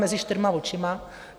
Mezi čtyřma očima.